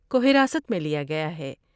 کو حراست میں لیا گیا ہے ۔